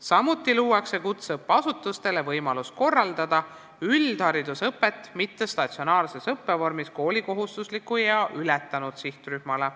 Samuti luuakse kutseõppeasutustele võimalus korraldada üldharidusõpet mittestatsionaarses õppevormis koolikohustusliku ea ületanud sihtrühmale.